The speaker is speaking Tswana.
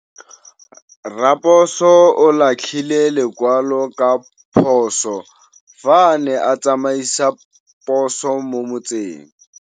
Raposo o latlhie lekwalô ka phosô fa a ne a tsamaisa poso mo motseng.